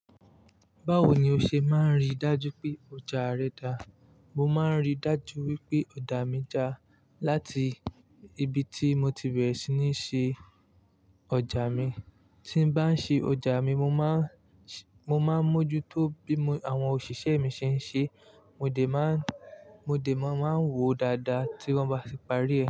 Báwo ni o ṣe máa ń rí dájú pé ọjà rẹ dá? Mo máa ń rí dájú wípé ọjà mi dá láti ibi tí mo ti bẹ̀rẹ̀ sí ní ṣe ọjà mi. Tí n bá ń ṣe ọjà mi, mo máa, mo máa ń mójú tó bí àwọn òṣìṣẹ́ mi ṣe ń ṣe, mo dè máa ń, mo dè máa ń wo dáadáa tí wọ́n bá ti parí.